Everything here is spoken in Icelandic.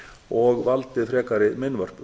og valdið frekari meinvörpum